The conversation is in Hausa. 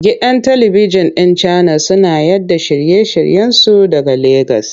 Gidan talibikjin ɗin Channels suna yaɗa shirye-shiryensu daga Legas.